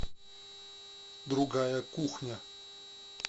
другая кухня